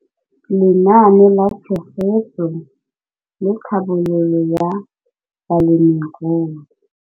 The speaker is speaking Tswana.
Lenaane la Tshegetso le Tlhabololo ya Balemirui.